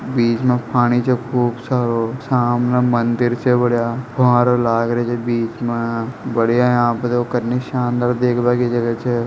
बीच में पानी जो खूब सारो सामने मंदिर छ बढ़िया फवारो लाग रयो छ बीच में बढ़िया यहां पर देखो कनी शानदार देखबा की जगह छ।